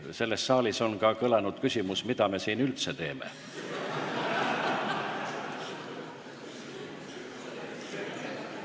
Selles saalis on ka kõlanud küsimus, mida me siin üldse teeme.